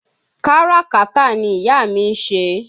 Káràkátà ni ìyá mi ń ṣe